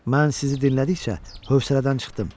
Mən sizi dinlədikcə hövsələdən çıxdım.